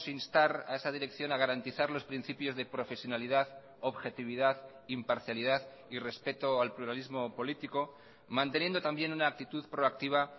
instar a esa dirección a garantizar los principios de profesionalidad objetividad imparcialidad y respeto al pluralismo político manteniendo también una actitud proactiva